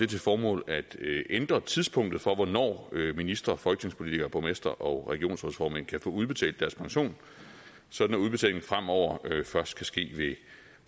til formål at ændre tidspunktet for hvornår ministre folketingspolitikere borgmestre og regionsrådsformænd kan få udbetalt deres pension sådan at udbetalingen fremover først kan ske ved